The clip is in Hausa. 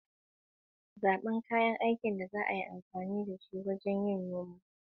Zaɓi kayan aikin da ya dace don aikin, mutunta manufarsa, kuma ku kula da shi.